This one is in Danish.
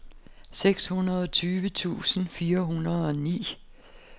seksogtyve tusind fire hundrede og ni